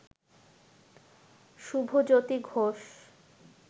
Shubhajyoti Ghosh